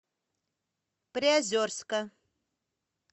приозерска